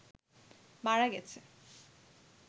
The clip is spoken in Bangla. মারা গেছে